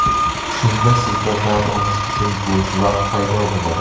Shunda sizda dam olish uchun bo‘sh vaqt paydo bo‘ladi.